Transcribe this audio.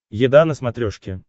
еда на смотрешке